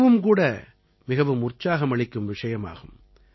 இதுவும் கூட மிகவும் உற்சாகமளிக்கும் விஷயமாகும்